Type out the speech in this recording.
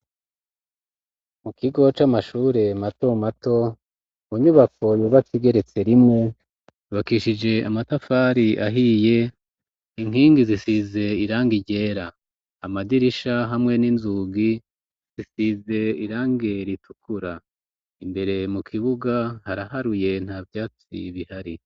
mu kigo c'amashure mato mato mu nyubako yubakigeretse rimwe ribakishije amatafari ahiye inkingi zisize irangi ryera amadirisha hamwe n'inzugi zisize irange ritukura imbere mu kibuga haraharuye nta vyatsi bihari